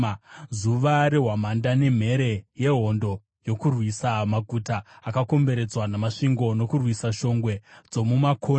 Zuva rehwamanda nemhere yehondo yokurwisa maguta akakomberedzwa namasvingo, nokurwisa shongwe dzomumakona.